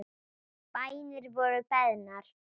Bænir voru beðnar.